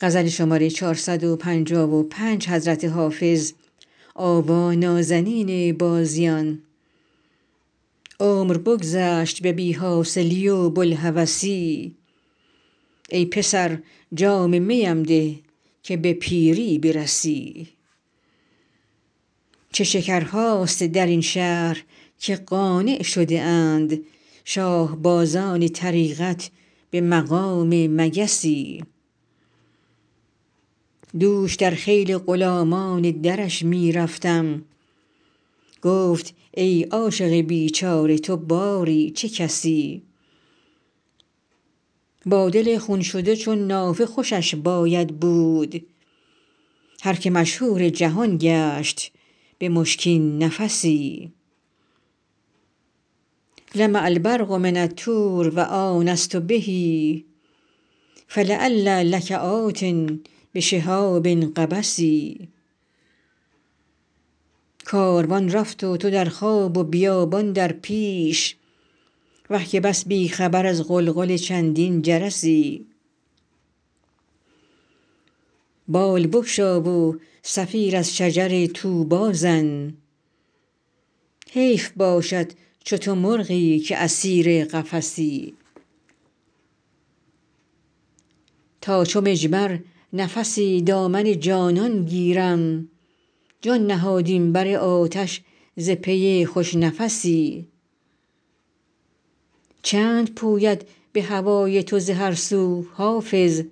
عمر بگذشت به بی حاصلی و بوالهوسی ای پسر جام می ام ده که به پیری برسی چه شکرهاست در این شهر که قانع شده اند شاه بازان طریقت به مقام مگسی دوش در خیل غلامان درش می رفتم گفت ای عاشق بیچاره تو باری چه کسی با دل خون شده چون نافه خوشش باید بود هر که مشهور جهان گشت به مشکین نفسی لمع البرق من الطور و آنست به فلعلی لک آت بشهاب قبس کاروان رفت و تو در خواب و بیابان در پیش وه که بس بی خبر از غلغل چندین جرسی بال بگشا و صفیر از شجر طوبی زن حیف باشد چو تو مرغی که اسیر قفسی تا چو مجمر نفسی دامن جانان گیرم جان نهادیم بر آتش ز پی خوش نفسی چند پوید به هوای تو ز هر سو حافظ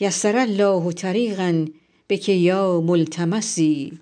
یسر الله طریقا بک یا ملتمسی